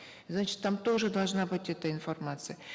значит там тоже должна быть эта информация